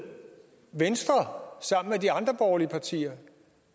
venstre sammen med de andre borgerlige partier at